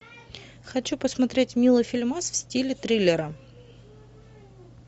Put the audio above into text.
хочу посмотреть милый фильмас в стиле триллера